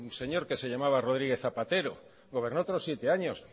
señor que se llamaba rodríguez zapatero gobernó otros siete años